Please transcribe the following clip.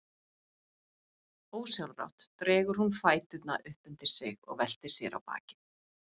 Ósjálfrátt dregur hún fæturna upp undir sig og veltir sér á bakið.